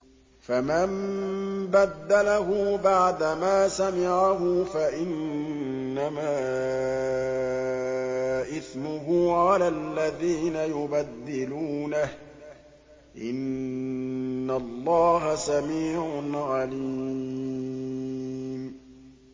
فَمَن بَدَّلَهُ بَعْدَمَا سَمِعَهُ فَإِنَّمَا إِثْمُهُ عَلَى الَّذِينَ يُبَدِّلُونَهُ ۚ إِنَّ اللَّهَ سَمِيعٌ عَلِيمٌ